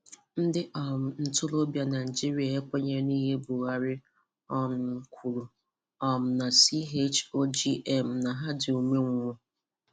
Ndị um ntoróbịa Naijíríà ekwènyèghị n’íhè Buhari um kwùrù um na CHOGM na ha dị umeṅwụ.